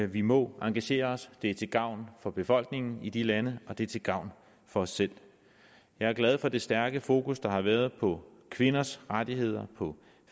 vi må engagere os det er til gavn for befolkningen i de lande og det er til gavn for os selv jeg er glad for det stærke fokus der har været på kvinders rettigheder på